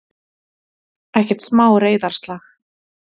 Ekkert smá reiðarslag!